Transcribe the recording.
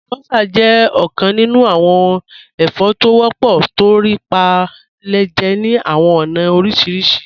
Alúbọ́sá jẹ̀ ọkàn nínú awọn ẹ̀fọ́ tí wọ́pọ̀ tó rí pé à le jẹ́ ní awọn ọ̀na orísírísì.